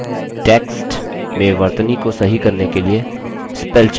text में वर्तनी को सही करने के लिए spellcheck विशेषता का इस्तेमाल करें